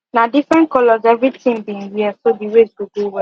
na different colors every team been wear so the race go go we